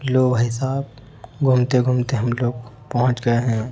लो भाई साब घूमते घूमते हम लोग पहुंच गए हैं।